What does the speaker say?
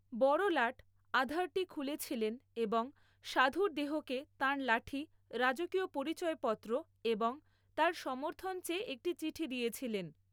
বড়লাট আধারটি খুলেছিলেন এবং সাধুর দেহকে তাঁর লাঠি, রাজকীয় পরিচয়পত্র এবং তাঁর সমর্থন চেয়ে একটি চিঠি দিয়েছিলেন।